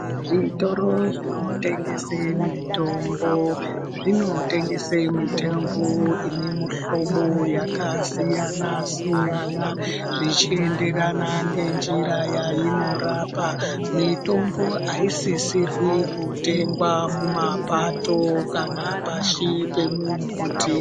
Zvitoro zvinotengesa mitombo zvinotengesa mitombo ine mihlobo yakasiyana-siyana zvichienderana ngenjira yainorapa mitombo aisisirwi kutengwa mumapato kana pashi pemumbuti.